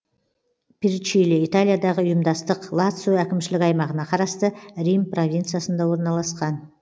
перчиле италиядағы ұйымдастық лацио әкімшілік аймағына қарасты рим провинциясында орналасқан